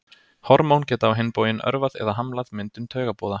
Hormón geta á hinn bóginn örvað eða hamlað myndun taugaboða.